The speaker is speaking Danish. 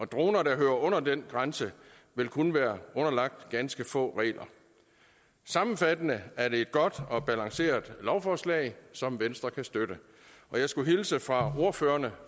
droner der hører under den grænse vil kun være underlagt ganske få regler sammenfattende er det et godt og balanceret lovforslag som venstre kan støtte jeg skulle hilse fra ordførerne